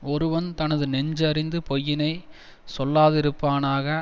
ஒருவன் தனது நெஞ்சு அறிந்து பொய்யினைச் சொல்லாதிருப்பானாக